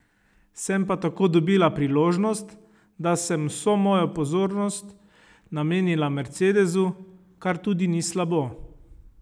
Sem pa tako dobila priložnost, da sem vso mojo pozornost namenila mercedesu, kar tudi ni slabo!